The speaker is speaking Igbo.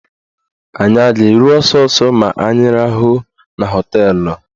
Anyị a ga-eru ọsọsọ ma anyị rahụọ na họteelụ?